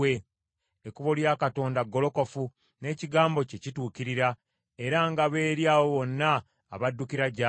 Ekkubo lya Katonda golokofu, n’ekigambo kye kituukirira; era ngabo eri abo bonna abaddukira gy’ali.